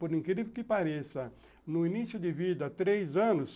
Por incrível que pareça, no início de vida, três anos,